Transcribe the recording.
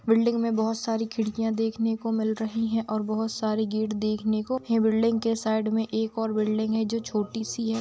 Building में बहुत सारी खिड़कियाँ देखने को मिल रही हैं और बहुत सारे गेट देखने को हैं बिल्डिंग के साइड में एक और बिल्डिंग है जो छोटी सी है।